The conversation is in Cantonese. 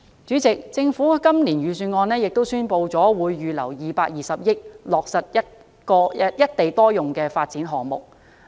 主席，政府在今年的預算案中亦宣布會預留220億元，落實多個"一地多用"的發展項目。